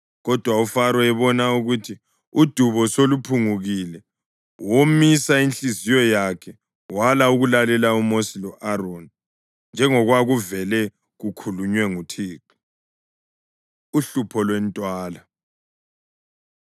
Kodwa uFaro ebona ukuthi udubo soluphungukile womisa inhliziyo yakhe wala ukulalela uMosi lo-Aroni njengokwakuvele kukhulunywe nguThixo. Uhlupho Lwentwala